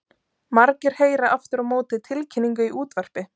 Margir heyra aftur á móti tilkynningu í útvarpi.